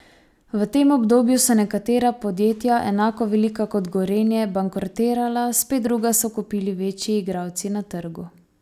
V tem obdobju so nekatera podjetja, enako velika kot Gorenje, bankrotirala, spet druga so kupili večji igralci na trgu.